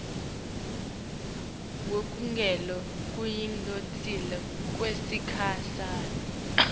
wekugula lokuyingoti kwesikhashana